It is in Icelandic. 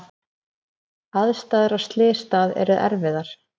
Aðstæður á slysstað eru erfiðar